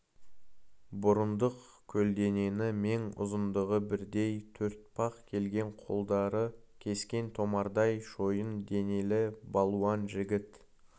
бұрындық көлденеңі мен ұзындығы бірдей төртпақ келген қолдары кескен томардай шойын денелі балуан жігіт